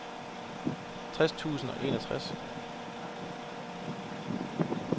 tres tusind og enogtres